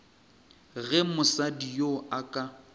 ge mosadi yoo a ka